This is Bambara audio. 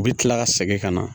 U bɛ kila ka segin ka na